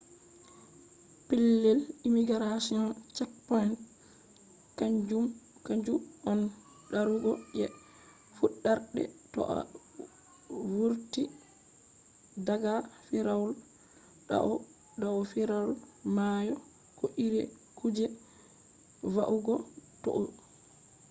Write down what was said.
pellel immigration checkpoint kanju on darugo je fuɗɗarde to a vurti daga firawol dau firawol mayo. ko iri kuje va’ugo toi